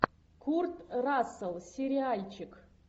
курт рассел сериальчик